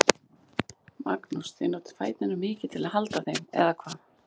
Magnús: Þið notið fæturna mikið til að halda þeim, eða hvað?